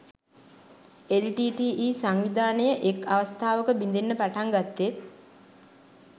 LTTE සංවිධානය එක් අවස්ථාවක බිඳෙන්න පටන් ගත්තෙත්